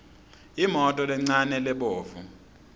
imoto lencane lebovu